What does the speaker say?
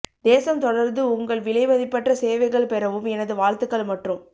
தேசம் தொடர்ந்து உங்கள் விலைமதிப்பற்ற சேவைகளை பெறவும் எனது வாழ்த்துக்கள் மற்றும்